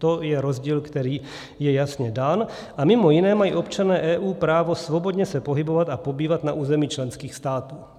To je rozdíl, který je jasně dán, a mimo jiné mají občané EU právo svobodně se pohybovat a pobývat na území členských států.